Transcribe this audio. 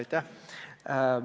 Aitäh!